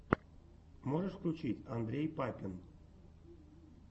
можешь включить андрей папин